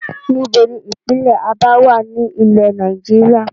Níbo ni ìpínlẹ́ Abá wá ní ilẹ́ Nàìjíríà?